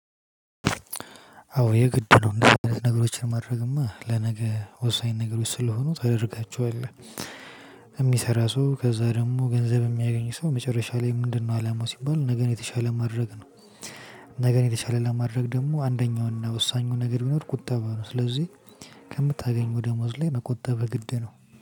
አዎ የግድ ነው ነገሮችን ማድረግማ ለነገ ወሳኝ ነገሮች ስለሆኑ ነው ታደርጋቸዋለህ የሚሰራ ሰው ከዛ ደግሞ ገንዘብ የሚያገኝ ሰው መጨረሻ ላይ ምንድነው አላማው ሲባል ነገን የተሻለ ማድረግ ነው። ነገን የተሻለ ለማድረግ ደግሞ አንደኛውና ወሳኙ ነገር ቢኖር ቁጠባ ነው ስለዚህ ከምታገኘው ደሞዝ ላይ መቆጠብ ግድ ነው።